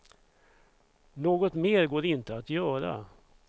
Något mer går inte att göra.